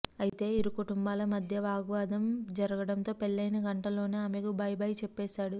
అయితే ఇరుకుటుంబాల మధ్య వాగ్వాదం జరగడంతో పెళ్లయిన గంటలోనే ఆమెకు బైబై చెప్పేశాడు